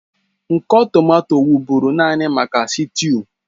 Nkọ tomato wụ́bụ́ru naanị maka sịtịụ